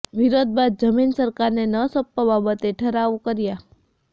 વિરોધ બાદ જમીન સરકારને ન સોંપવા બાબતે ઠરાવ કરાયો